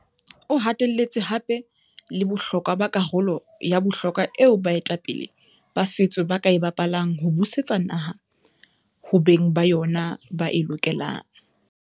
O hatelletse hape le bohlokwa ba karolo ya bohlokwa eo baetapele ba setso ba ka e bapalang ho busetsa naha ho beng ba yona ba e lokelang.